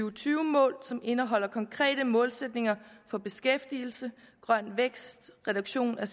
og tyve mål som indeholder konkrete målsætninger for beskæftigelse grøn vækst reduktion af